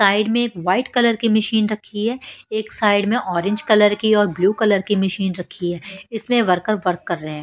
Side में एक white colour की मशीन रखी है एक साइड में ऑरेंज कलर की और ब्लू कलर की मशीन रखी है इसमें वर्कर वर्क कर रहे हैं।